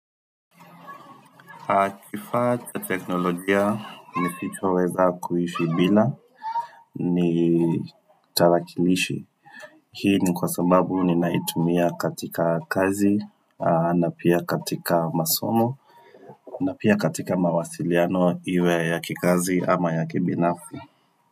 Kifaa teknolojia nisichoweza kuishi bila ni tarakilishi. Hii ni kwa sababu ni naitumia katika kazi na pia katika masomo na pia katika mawasiliano iwe ya kikazi ama ya kibinafsi.